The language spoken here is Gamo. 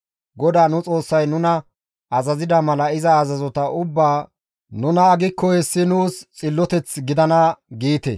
GODAA nu Xoossay nuna azazida mala iza azazota ubbaa nu naagikko hessi nuus xilloteth gidana» giite.